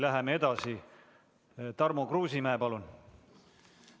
Läheme edasi: Tarmo Kruusimäe, palun!